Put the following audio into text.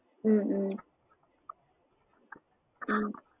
ஹம் ஹம் ஹம்